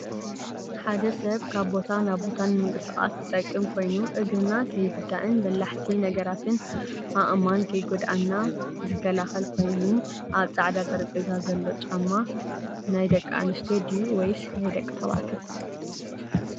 ሓደ ሰብ ካብ ቦታ ናብ ቦታ ንምቅስቃስ ዝጠቅም ኮይኑ እግርና ከይጉዳእን በላሕቲ ነገራትን ኣእማንን ከይጎድእና ዝከላከል ኮይኑኣብ ፃዕዳ ጠረጴዛ ዘሎ ጫማ ናይ ደቂ ኣንስትዮ ድዩ ወይስ ናይ ደቂ ተባዕትዩ?